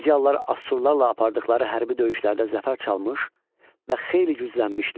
Midiyalılar Asurlarla apardıqları hərbi döyüşlərdə zəfər çalmış və xeyli güclənmişdilər.